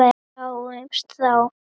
Sjáumst þá.